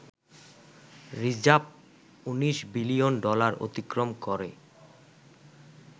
Reserve ১৯ billion dollar অতিক্রম করে।